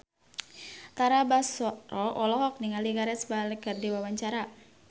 Tara Basro olohok ningali Gareth Bale keur diwawancara